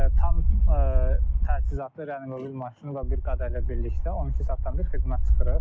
Tam təchizatlı reliv maşını və bir qada ilə birlikdə 12 saatdan bir xidmət çıxırıq.